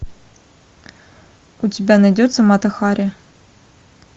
у тебя найдется мата хари